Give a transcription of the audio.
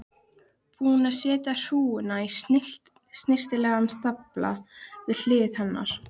Búinn að setja hrúguna í snyrtilegan stafla við hlið hennar.